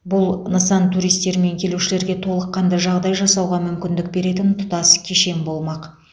бұл нысан туристер мен келушілерге толыққанды жағдай жасауға мүмкіндік беретін тұтас кешен болмақ